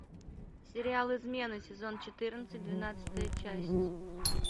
сериал измена сезон четырнадцать двенадцатая часть